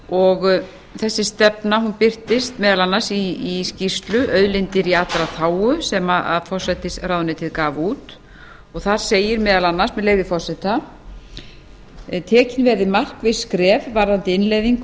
og þessi stefna birtist meðal annars í skýrslu auðlindir í allra þágu sem forsætisráðuneytið gaf út þar segir meðal annars með leyfi forseta annars tekin verði markviss skref varðandi innleiðingu